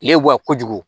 Lewa kojugu